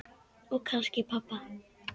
Og kannski pabba.